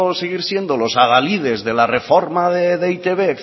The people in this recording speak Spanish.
seguir siendo los adalides de la reforma de e i te be